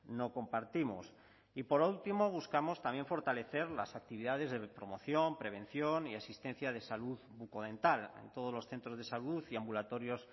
no compartimos y por último buscamos también fortalecer las actividades de promoción prevención y asistencia de salud bucodental en todos los centros de salud y ambulatorios